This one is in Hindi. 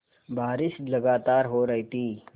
बारिश लगातार हो रही थी